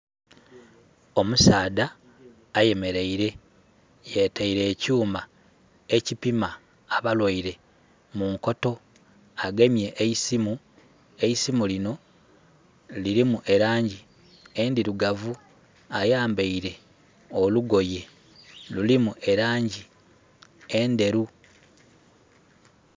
Omusaadha ayemereire yetaire ekyuma ekipima abalwaire munkoto. Agemye eisimu mungalo. eisimu linho lirimu elangi endhirugavu, ayambeire olugoye lurimu elangi endheru.